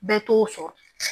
Bɛɛ t'o sɔrɔ